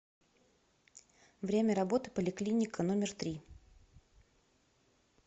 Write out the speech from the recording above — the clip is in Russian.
время работы поликлиника номер три